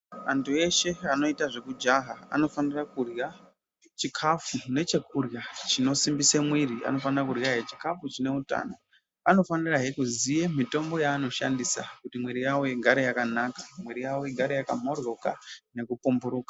Antu eshe anoita zvekujaha anofanira kurya chikafu nechekurya chinosimbisa mwiri anofanira kurya chikafu chine hutano anofanirahe kuziya mitombo yanoshandisa kuti mwiri yawo igare yakamboryoka nekupomboroka.